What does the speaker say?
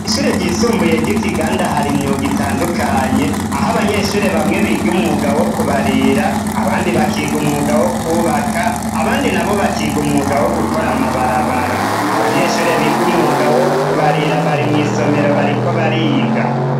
Ishure ryisumbuye ry'ikiganda hari imyuga itandukanye, aho abanyeshure bamwe biga umwuga wo kubarira, abandi bakiga umwuga wo kubaka, abandi nabo bakiga umwuga wo gukora amabarabara. Abanyeshure biga umwuga wo kubarira bari mwisomero bariko bariga.